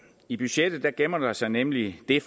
i budgettet gemmer der sig nemlig det